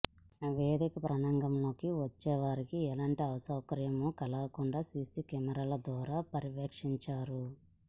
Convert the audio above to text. వేదిక ప్రాంగణంలోకి వచ్చేవారికి ఎలాంటి అసౌకర్యం కలగకుండా సీసీ కెమెరాల ద్వారా పర్యవేక్షిస్తారు